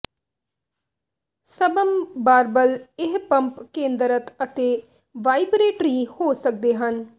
ਸਬਮ ਬਾਰਬਲ ਇਹ ਪੰਪ ਕੇਂਦਰਤ ਅਤੇ ਵਾਈਬਰੇਟਰੀ ਹੋ ਸਕਦੇ ਹਨ